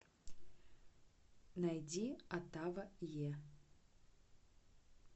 найди отава е